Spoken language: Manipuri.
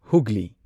ꯍꯨꯒ꯭ꯂꯤ